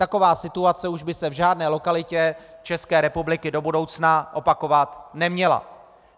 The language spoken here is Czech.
Taková situace by se už v žádné lokalitě České republiky do budoucna opakovat neměla.